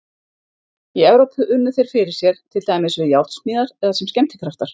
Í Evrópu unnu þeir fyrir sér, til dæmis við járnsmíðar eða sem skemmtikraftar.